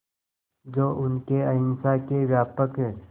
जो उनके अहिंसा के व्यापक